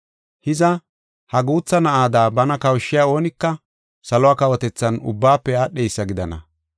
Hiza, ha guutha na7ada bana kawushiya oonika salo kawotethan ubbaafe aadheysa gidana.